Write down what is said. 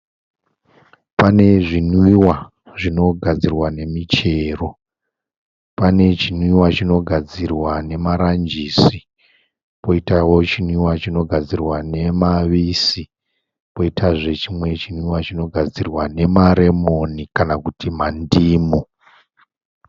Pane zvimwiwa zvinogadzirwa nemichero. Pane chinwiwa chinogadzirwa nemaranjisi poitawo chinwiwa chinogadzirwa nemavise poitazve chinwiwa chinogadzirwa nemaremoni kana kuti mandimu.